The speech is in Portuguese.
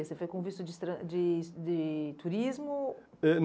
Você foi com visto de estran de de turismo? Eh